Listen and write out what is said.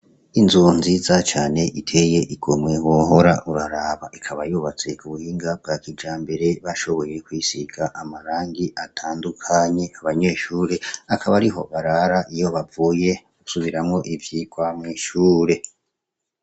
Inzu nziza cane iteye igomwe wohora uraraba, ikaba yubatse ku buhinga bwa kijambere bashoboye kuyisiga amarangi atandukanye, abanyeshure akaba ariho barara iyo bavuye gusubiramwo ivyigwa mw'ishure.